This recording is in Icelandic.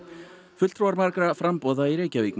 fulltrúar margra framboða í Reykjavík